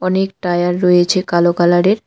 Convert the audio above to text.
অনেক টায়ার রয়েছে কালো কালারের।